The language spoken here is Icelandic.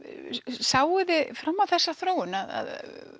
sáuð þið fram á þessa þróun að